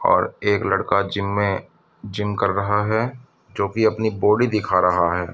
और एक लड़का जिम में जिम कर रहा है जो कि अपनी बॉडी दिखा रहा है।